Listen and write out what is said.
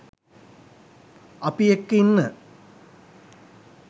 අපි එක්ක ඉන්න